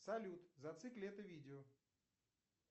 салют зацикли это видео